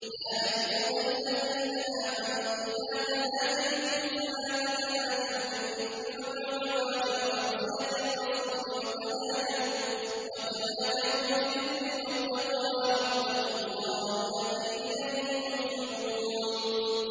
يَا أَيُّهَا الَّذِينَ آمَنُوا إِذَا تَنَاجَيْتُمْ فَلَا تَتَنَاجَوْا بِالْإِثْمِ وَالْعُدْوَانِ وَمَعْصِيَتِ الرَّسُولِ وَتَنَاجَوْا بِالْبِرِّ وَالتَّقْوَىٰ ۖ وَاتَّقُوا اللَّهَ الَّذِي إِلَيْهِ تُحْشَرُونَ